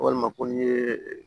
Walima ko n'i ye